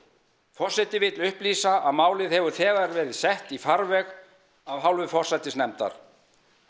forseti vill upplýsa að málið hefur þegar verið sett í farveg af hálfu forsætisnefndar